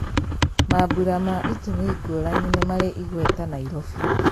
Mambũra ma itumi ngũrani nĩmarĩ igweta Nairobi.